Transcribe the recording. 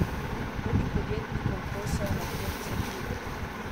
Drugim podjetnikom posel medtem cveti.